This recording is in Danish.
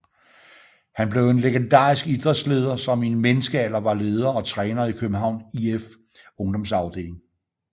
Han blev en legendarisk idrætsleder som i en menneskealder var leder og træner i Københavns IFs ungdomsafdeling